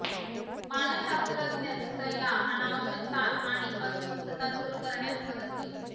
मानसशास्त्रज्ञ सल्ला अनावश्यक ताण आणि अस्वस्थता दूर करण्यास मदत होईल